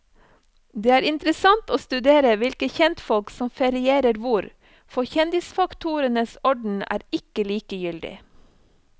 Det er interessant å studere hvilke kjentfolk som ferierer hvor, for kjendisfaktorens orden er ikke likegyldig.